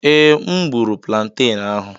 Ee, M gburu planten ahụ.